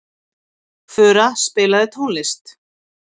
Fura, spilaðu tónlist.